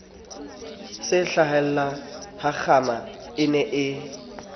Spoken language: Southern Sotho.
se hlahellahakgama a ne a